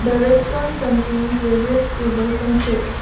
the restaurant contains various tables and chairs.